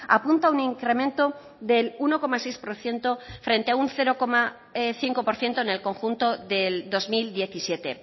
apunta a un incremento del uno coma seis por ciento frente a un cero coma cinco por ciento en el conjunto del dos mil diecisiete